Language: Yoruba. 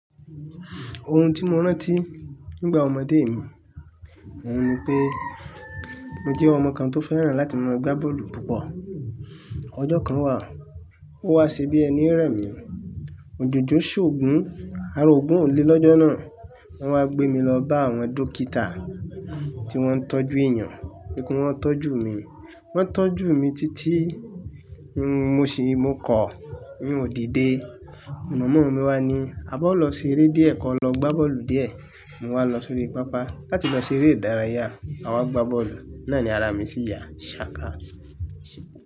Ohun tí mo rántí nígbà ọmọdé mi, òun ni pé mo jẹ́ ọmọ kan tó fẹ́ràn láti máa gbá bọ́ọ̀lù púpọ̀. Ọjọ́ kan wà, ó wá sí bí ẹní rẹ̀ mi. Òjòjò ṣòògùn, a roògùn olé lọ́jọ́ náà. Wọ́n wá gbé mi lọ bá àwọn dókítà tí wọ́n ń tọ́jú èèyàn. Wipé wọ́n tọ́jú mi, wọ́n tọ́jú mi títí tí mo ṣìí mo kọ̀, mi ò dìde. Mama mi wá ní, "A bá lọ ṣeré díẹ̀ kọ́, lọ gbá bọ́ọ̀lù díẹ̀." Mo wá lọ sórí pápá láti lọ ṣeré ìdárayá. A wá gbá bọ́ọ̀lù, náà ni ara mi sì ya, ṣàkà.